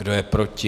Kdo je proti?